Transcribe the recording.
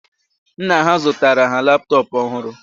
Nna ha zụtara ha laptop ọhụrụ